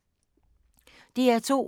DR2